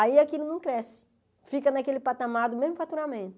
Aí aquilo não cresce, fica naquele patamar do mesmo faturamento.